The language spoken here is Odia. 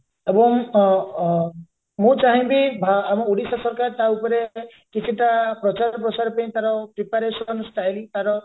ଏବଂ ଅ ଅ ମୁଁ ଚାହିଁବି ଭା ଆମ ଓଡିଶା ସରକାର ତା ଉପରେ କିଛି ପ୍ରଚାର ପ୍ରସାର ପାଇଁ ତାର preparation style ତାର